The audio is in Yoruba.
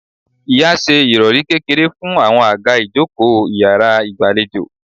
Ìya ṣe ìròrí kékeré fún àwọn àga ìjókòó iyàrá ìgbàlejò